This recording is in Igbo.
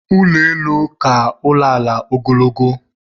Ụlọelu na-aka ụlọala ogologo